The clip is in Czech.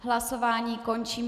Hlasování končím.